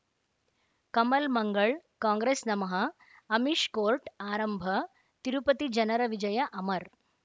Kamal Mangal Congress ನಮಃ Amish court ಆರಂಭ ತಿರುಪತಿ ಜನರ ವಿಜಯ ಅಮರ್